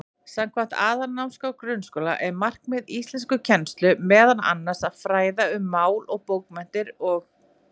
Samkvæmt Aðalnámskrá grunnskóla er markmið íslenskukennslu meðal annars að fræða um mál og bókmenntir og.